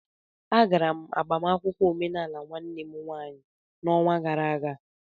Agara m agbamakwụkwọ omenaala nwanne m nwaanyị n'ọnwa gara aga